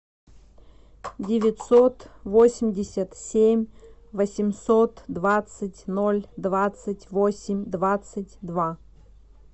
девятьсот восемьдесят семь восемьсот двадцать ноль двадцать восемь двадцать два